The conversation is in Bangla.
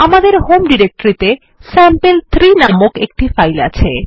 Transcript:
আমাদের হোম ডিরেক্টরিতে স্যাম্পল3 নামের একটি ফাইল আছে